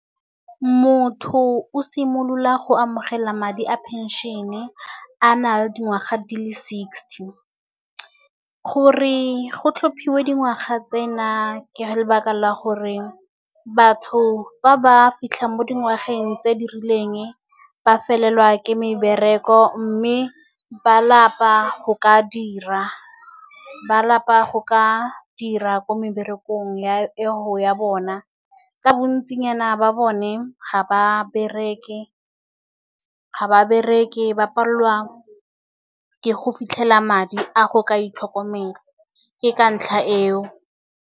Motho o simolola go amogela madi a pension-e a nale dingwaga di le sixty. Gore go tlhophiwe dingwaga tsena, ke lebaka la gore batho fa ba fitlha mo dingwageng tse di rileng, ba felelwa ke mebereko, mme ba lapa go ka dira. Ba lapa go ka dira ko meberekong, ya bona. Ka bontsinyana ba bone ga ba bereke ba palelwa ke go fitlhela madi a go ka itlhokomela, ke ka ntlha eo.